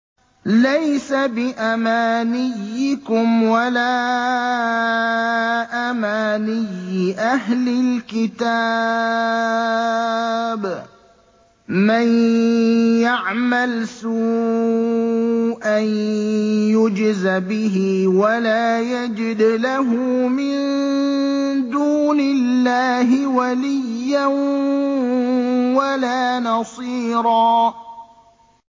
لَّيْسَ بِأَمَانِيِّكُمْ وَلَا أَمَانِيِّ أَهْلِ الْكِتَابِ ۗ مَن يَعْمَلْ سُوءًا يُجْزَ بِهِ وَلَا يَجِدْ لَهُ مِن دُونِ اللَّهِ وَلِيًّا وَلَا نَصِيرًا